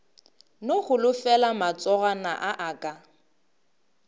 no holofela matsogwana a aka